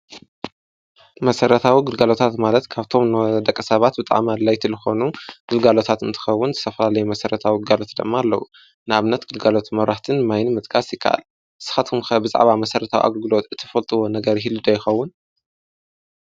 መሰረታዊ ግልለጋሎታት ማለት ካብቶም ናይ ደቂ ሰባት ወይ ከዓ ኣድለይቲ ዝኾኑ ግልጋሎታት እንትኸውን ዝተፈላለዩ መሰረተዊ ግልጋሎታት ድማ ኣለዉ ፡፡ንኣብነት ግልጋሎት መብራህትን ማይን ምጥቃስ ይካእል፡፡ ንስካቱኹም ከ ብዛዕባ መሰረታዊ ግልጋሎት ትፈልጡዎ ነገር ህይሉ ዶ ይኸውን?